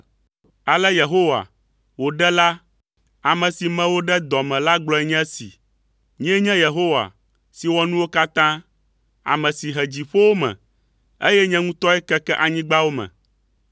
“Ale Yehowa, wò Ɖela, ame si me wò ɖe dɔ me la gblɔe nye esi: “Nyee nye Yehowa si wɔ nuwo katã. Ame si he dziƒowo me, eye nye ŋutɔe keke anyigbawo me.